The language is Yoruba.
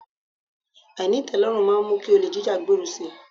Àìní ìtẹ́lọ́rùn máa mú kí olè jíjá gbèrú si.